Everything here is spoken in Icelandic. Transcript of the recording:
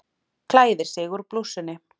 Klæðir sig úr blússunni.